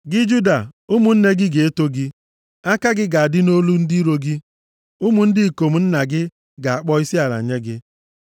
“Gị, Juda, ụmụnne gị ga-eto gị. Aka gị ga-adị nʼolu ndị iro gị. Ụmụ ndị ikom nna gị ga-akpọ isiala nye gị.